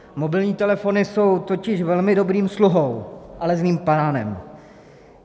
Mobilní telefony jsou totiž velmi dobrým sluhou, ale zlým pánem.